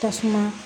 Tasuma